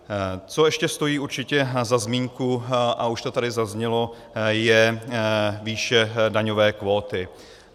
Co ještě stojí určitě za zmínku, a už to tady zaznělo, je výše daňové kvóty.